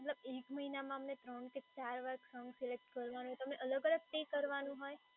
એક મહિનામાં અમને ત્રણ કે ચાર સોંગ સિલેક્ટ કરવાનું અલગ-અલગ